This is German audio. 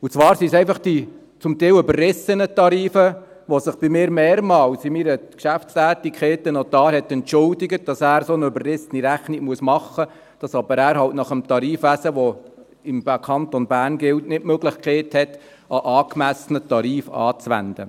Und zwar sind es einfach die zum Teil überrissenen Tarife, für die sich in meinen Geschäftstätigkeiten mehrmals ein Notar bei mir entschuldigt hat: dafür, dass er so eine überrissene Rechnung machen müsse, dass er aber nach dem Tarifwesen, das im Kanton Bern gilt, halt nicht die Möglichkeit habe, einen angemessenen Tarif anzuwenden.